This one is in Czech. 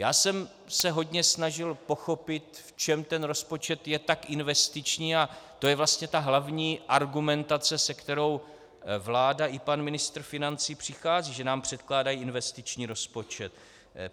Já jsem se hodně snažil pochopit, v čem ten rozpočet je tak investiční, a to je vlastně ta hlavní argumentace, se kterou vláda i pan ministr financí přichází - že nám předkládá investiční rozpočet.